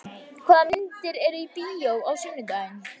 Högna, hvaða myndir eru í bíó á sunnudaginn?